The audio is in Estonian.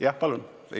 Jah, palun!